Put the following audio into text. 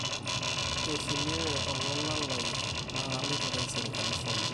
eishelewe olola lai na kaloito taisere Carlifonia